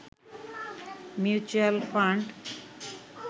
mutual fund